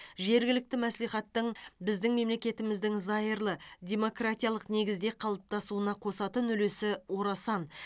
жергілікті мәслихаттың біздің мемлекетіміздің зайырлы демократиялық негізде қалыптасуына қосатын үлесі орасан